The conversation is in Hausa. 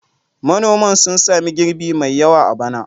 Manoman sun sami girbi mai yawa a bana.